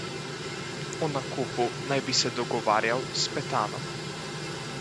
O nakupu naj bi se dogovarjal s Petanom.